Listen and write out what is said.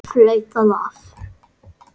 Flautað af.